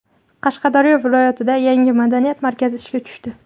Qashqadaryo viloyatida yangi madaniyat markazi ishga tushdi.